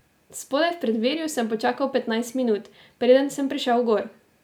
Spodaj v preddverju sem počakal petnajst minut, preden sem prišel gor.